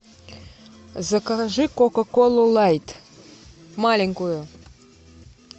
закажи кока колу лайт маленькую